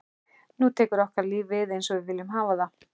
Nú tekur okkar líf við einsog við viljum hafa það.